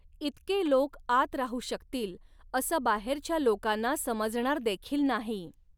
इतके लोक आत राहू शकतील असं बाहेरच्या लोकांना समजणार देखील नाही.